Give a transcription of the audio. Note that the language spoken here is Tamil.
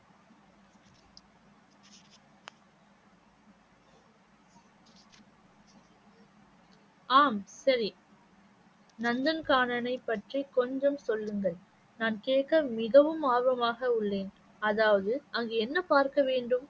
ஆம் சரி நந்தன்கானனை பற்றி கொஞ்சம் சொல்லுங்கள் நான் கேட்க மிகவும் ஆர்வமாக உள்ளேன் அதாவது அங்கே என்ன பார்க்க வேண்டும்?